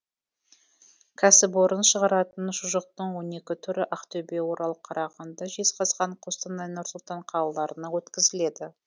кәсіпорын шығаратын шұжықтың он екі түрі ақтөбе орал қарағанды жезқазған қостанай нұр сұлтан қалаларына өткізіледі